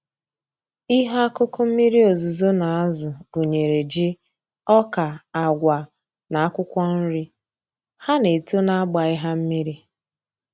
Ihe akụkụ mmiri ozuzo na-azụ gụnyere ji, ọka, agwa na akwụkwọ nri. Ha na-eto na agbaghị ha mmiri